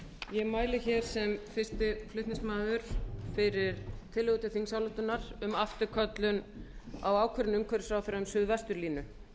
ég mæli hér sem fyrsta flm fyrir tillögu til þingsályktunar um afturköllun á ákvörðun umhverfisráðherra um suðvesturlínu